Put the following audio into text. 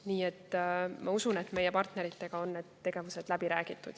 Nii et ma usun, et meie partneritega on need tegevused läbi räägitud.